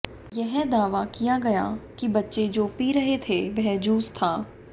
यह दावा किया गया कि बच्चे जो पी रहे थे वह जूस था